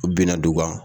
U bina dugu kan